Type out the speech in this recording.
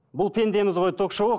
бұл пендеміз ғой ток шоуы